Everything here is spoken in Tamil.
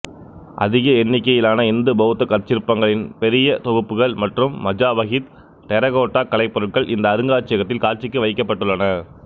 அதிக எண்ணிக்கையிலான இந்து பௌத்த கற்சிற்பங்களின் பெரிய தொகுப்புகள் மற்றும் மஜாபஹித் டெர்ரகோட்டா கலைப்பொருள்கள் இந்த அருங்காட்சியகத்தில் காட்சிக்கு வைக்கப்பட்டுள்ளன